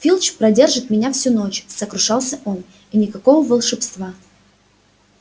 филч продержит меня всю ночь сокрушался он и никакого волшебства